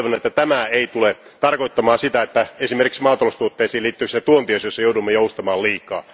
Toivon, että tämä ei tule tarkoittamaan sitä, että esimerkiksi maataloustuotteisiin liittyvissä tuontiasioissa joudumme joustamaan liikaa.